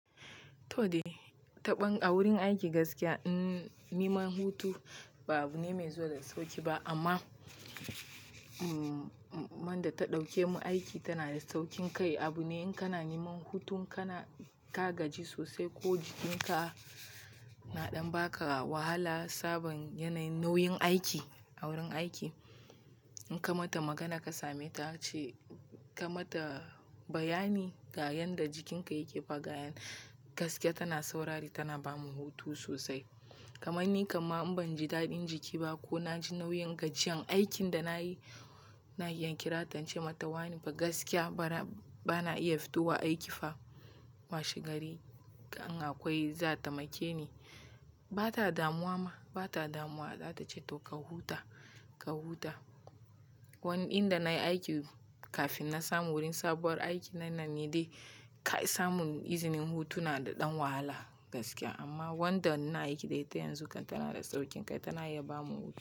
To dai, taɓon a wurin aiki gaskiya niman hutu ba abu ne mai zuwa da sauƙi ba amma mm, man da ta ɗauke mun aiki tana da sauƙin kai. Abu ne in kana niman hutun ka na, ka gaji sosai ko jikin ka na ɗan baka wahala sabin yana yin nauyin, aiki a wurin aiki. In ka mata magana ka same ta ce, ka mata bayani ga yanda jikin ka yake fa ga yan, gaskiya tana saurari tana bamu hutu sosai. Kamanni kam ma in ban ji daɗin jiki ba ko na ji nauyin gajiyan aikin da nayi, na iya kirata in ce mata wani fa gaskiya bana, bana iya fito wa aiki fa. Washe gari in akwai za a taimake ni. Ba ta damuwa ma, ba ta damuwa. Za ta ce to ka huta, ka huta. Wani inda nayi aiki kafin na samu wurin sabuwar aiki na nan ne dai. Kai samun izinin hutu na da ɗan wahala, gaskiya amma wanda ina aiki da ita yanzu kan tana da sauƙin kai tana iya bamu hutu.